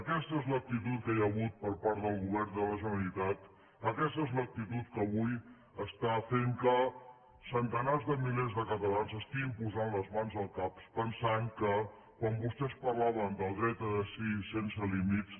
aquesta és l’actitud que hi ha hagut per part del govern de la generalitat aquesta és l’actitud que avui està fent que centenars de milers de catalans s’estiguin posant les mans al cap pensant que quan vostès parlaven del dret a decidir sense límits